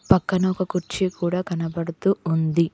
పక్కన ఒక కుర్చీ కూడా కనబడుతూ ఉంది.